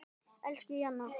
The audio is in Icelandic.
Elsku Jenna.